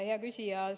Hea küsija!